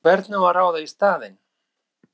Og hvern á að ráða í staðinn?!